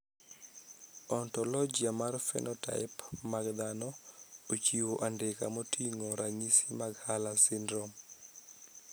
Ontologia mar phenotype mag dhano ochiwo andika moting`o ranyisi mag Hurler syndrome.